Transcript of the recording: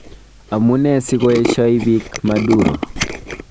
Amune sikoeshoi bik Maduro?